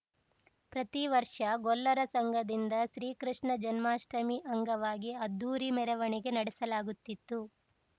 ಪ್ರತಿ ವರ್ಷ ಗೊಲ್ಲರ ಸಂಘದಿಂದ ಶ್ರೀ ಕೃಷ್ಣ ಜನ್ಮಾಷ್ಟಮಿ ಅಂಗವಾಗಿ ಅದ್ಧೂರಿ ಮೆರವಣಿಗೆ ನಡೆಸಲಾಗುತ್ತಿತ್ತು